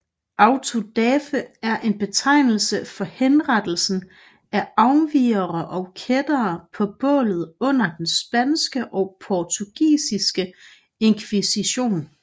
Autodafé er en betegnelse for henrettelsen af afvigere og kættere på bålet under den spanske og portugisiske inkvisition